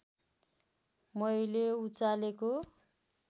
मैले उचालेको